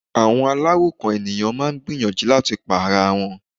Àwọn aláròkàn ènìyàn máà ń gbìyànjú láti pa ara wọn.